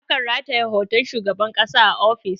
A kan rataye hoton shugaban ƙasa a ofis